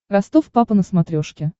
ростов папа на смотрешке